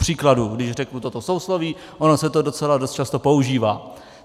Kupříkladu když řeknu toto sousloví, ono se to docela dost často používá.